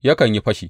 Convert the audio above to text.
Yakan yi fashi.